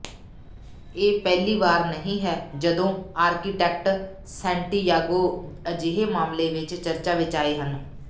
ਇਹ ਪਹਿਲੀ ਵਾਰ ਨਹੀਂ ਹੈ ਜਦੋਂ ਆਰਕੀਟੈਕਟ ਸੈਂਟੀਯਾਗੋ ਅਜਿਹੇ ਮਾਮਲੇ ਵਿਚ ਚਰਚਾ ਵਿਚ ਆਏ ਹਨ